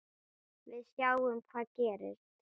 Við sjáum hvað gerist.